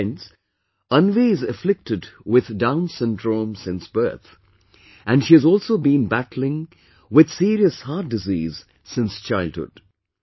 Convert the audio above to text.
Friends, Anvi is afflicted with Down's Syndrome since birth and she has also been battling with serious heart disease since childhood